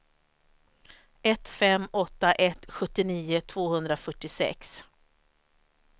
ett fem åtta ett sjuttionio tvåhundrafyrtiosex